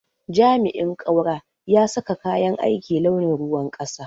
jami'in kaura ya saka kayan aiki launin ruwan kasa.